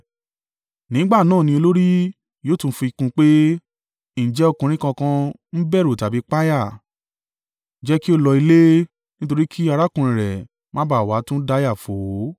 Nígbà náà ni olórí yóò tún fi kún un pé, “Ǹjẹ́ ọkùnrin kankan ń bẹ̀rù tàbí páyà? Jẹ́ kí ó lọ ilé nítorí kí arákùnrin rẹ̀ má ba à wá tún dáyà fò ó.”